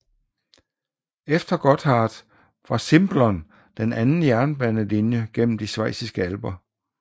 Efter Gotthard var Simplon den anden jernbanelinje gennem de schweiziske alper